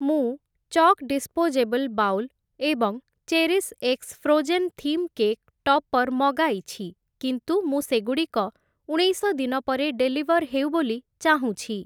ମୁଁ Chuk disposable bowl ଏବଂ cherish x frozen theme cake topper ମଗାଇଛି କିନ୍ତୁ ମୁଁ ସେଗୁଡ଼ିକ ଉଣେଇଶ ଦିନ ପରେ ଡେଲିଭର୍ ହେଉ ବୋଲି ଚାହୁଁଛି ।